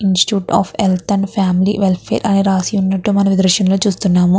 Institute of health and family welfare అని రాసి ఉన్నట్టు మనము ఈ దృశ్యం లో చూస్తున్నాము.